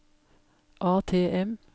ATM